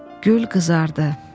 Gül qızardı.